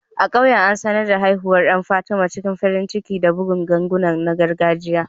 A ƙauyen, an sanar da haihuwar ɗan Fatima cikin farin ciki da bugun ganguna na gargajiya.